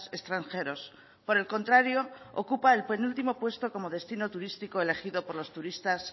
extranjeros por el contrario ocupa el penúltimo puesto como destino turístico elegido por los turistas